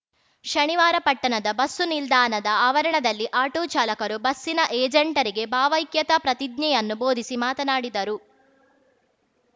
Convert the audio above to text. ಶನಿವಾರ ಪಟ್ಟಣದ ಬಸ್ಸು ನಿಲ್ದಾಣದ ಆವರಣದಲ್ಲಿ ಆಟೋ ಚಾಲಕರು ಬಸ್ಸಿನ ಏಜೆಂಟರಿಗೆ ಭಾವೈಕ್ಯತಾ ಪ್ರತಿಜ್ಞೆಯನ್ನು ಬೋಧಿಸಿ ಮಾತನಾಡಿದರು